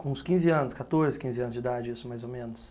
Com uns quinze anos, quatorze, quinze anos de idade, isso mais ou menos.